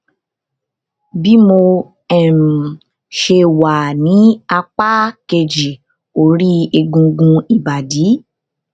bí mo um ṣe wà ní apá kejì ori egungun ibadi